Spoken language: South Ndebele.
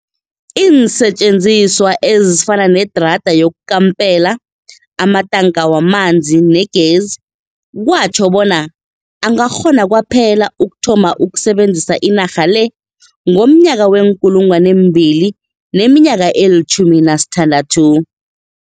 Iinsetjenziswa ezifana nedrada yokukampela, amatanka wamanzi negezi kwatjho bona angakghona kwaphela ukuthoma ukusebenzisa inarha le ngomnyaka wee-2016.